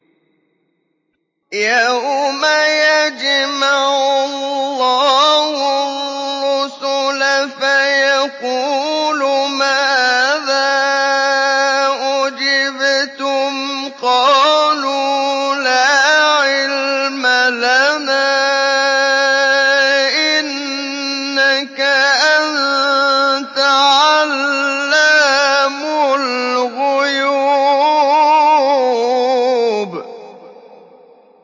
۞ يَوْمَ يَجْمَعُ اللَّهُ الرُّسُلَ فَيَقُولُ مَاذَا أُجِبْتُمْ ۖ قَالُوا لَا عِلْمَ لَنَا ۖ إِنَّكَ أَنتَ عَلَّامُ الْغُيُوبِ